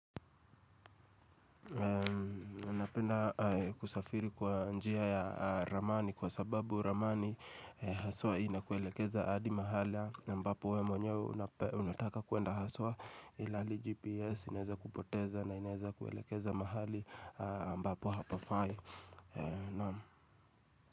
Napenda kusafiri kwa njia ya ramani kwa sababu ramani haswa inakuelekeza adi mahali ambapo we mwenyewe unataka kuenda haswa ila hili GPS inaweza kupoteza na inaweza kuelekeza mahali mbapo hapafai.